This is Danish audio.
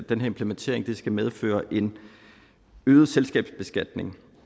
den implementering skal medføre en øget selskabsbeskatning